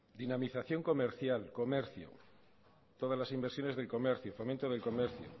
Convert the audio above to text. dinamización comercial comercio todas las inversiones del comercio fomento del comercio